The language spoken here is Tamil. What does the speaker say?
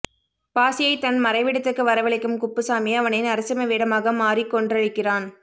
பாசியை தன் மறைவிடத்துக்கு வரவழைக்கும் குப்புசாமி அவனை நரசிம்ம வேடமாக மாறிக் கொன்றழிக்கிறான்